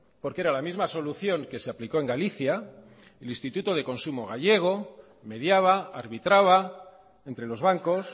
porque era la misma solución que se aplicó en galicia el instituto de consumo gallego mediaba arbitraba entre los bancos